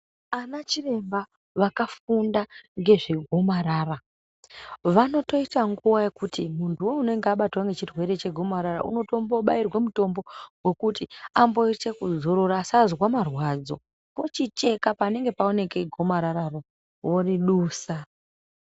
Ana chiremba vakafunda ndezvegomarara vanotoita nguva yekuti muntuwo unonga wabatwa ngechirwere chegomarara unotombobairwa mutombo amboite kuzorora asaite marwadzo vochicheka panenge paonekwa gomarararo voridusa .